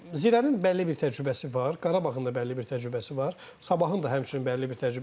Zirənin bəlli bir təcrübəsi var, Qarabağın da bəlli bir təcrübəsi var, Sabahın da həmçinin bəlli bir təcrübəsi var.